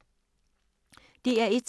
DR1